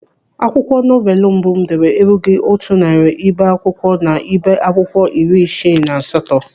Akwụkwọ novelu mbụ m dere erughị otu narị ibe akwụkwọ n'ibé akwụkwọ iri isii na asatọ.